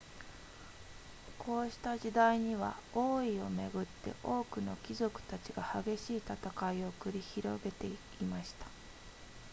こうした時代には王位をめぐって多くの貴族たちが激しい戦いを繰り広げていました